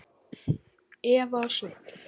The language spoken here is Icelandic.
Eva og Sveinn.